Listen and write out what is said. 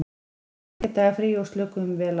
Við fengum þriggja daga frí og slökuðum vel á.